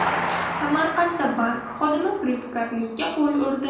Samarqandda bank xodimi firibgarlikka qo‘l urdi.